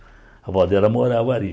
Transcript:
A avó dela morava ali.